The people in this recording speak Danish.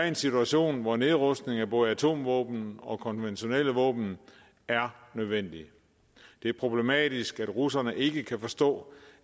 en situation hvor nedrustning af både atomvåben og konventionelle våben er nødvendig det er problematisk at russerne ikke kan forstå